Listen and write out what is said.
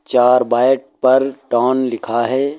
चार बैट पर टोन लिखा है।